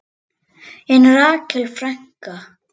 En Rakel frænka?